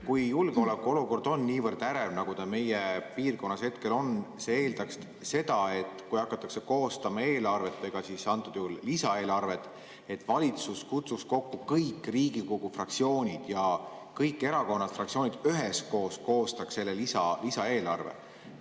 Kui julgeolekuolukord on niivõrd ärev, nagu ta meie piirkonnas hetkel on, siis see eeldaks seda, et kui hakatakse koostama eelarvet, antud juhul lisaeelarvet, siis valitsus kutsuks kokku kõik Riigikogu fraktsioonid ja kõik erakonnad-fraktsioonid üheskoos koostaksid selle lisaeelarve.